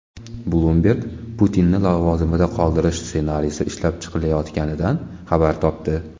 Bloomberg Putinni lavozimida qoldirish ssenariysi ishlab chiqilayotganidan xabar topdi.